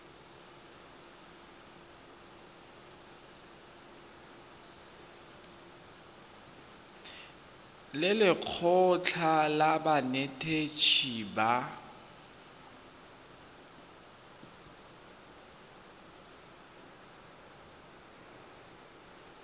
le lekgotlha la banetetshi ba